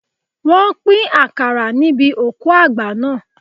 Wọ́n pín àkàrà níbi òkú àgbà naa